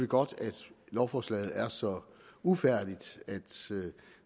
godt at lovforslaget er så ufærdigt at